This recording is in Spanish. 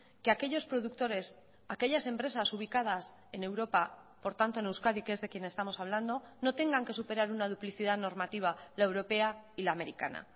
que aquellos productores aquellas empresas ubicadas en europa por tanto en euskadi que es de quien estamos hablando no tengan que superar una duplicidad normativa la europea y la americana